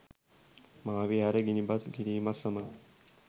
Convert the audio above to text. මහා විහාරය ගිනිබත් කිරීමත් සමඟ